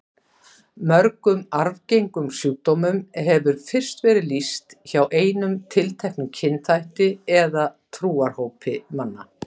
Mörgum arfgengum sjúkdómum hefur fyrst verið lýst hjá einum tilteknum kynþætti eða trúarhópi manna.